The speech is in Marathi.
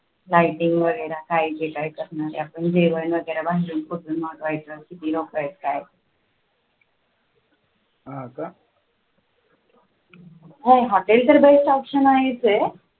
lighting वगैरे काय जे काय करणार आहे आपण जेवण वगैरे मागवायचे किती लोक आहेत काय हा का हम्म hotel तर best option आहेच आहे.